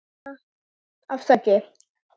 Arma: Afsakið